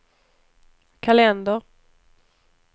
kalender